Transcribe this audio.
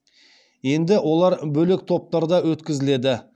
енді олар бөлек топтарда өткізіледі